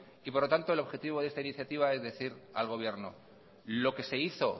y por lo tanto el objetivo de esta iniciativa es decir al gobierno lo que se hizo